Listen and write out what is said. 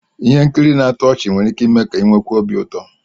Ihe nkiri na-atọ ọchị nwere ike ime ka ị nwekwuo obi ụtọ